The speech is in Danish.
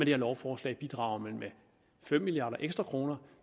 her lovforslag bidrager man med fem milliarder ekstra kroner